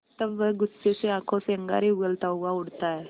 तब वह गुस्से में आँखों से अंगारे उगलता हुआ उठता है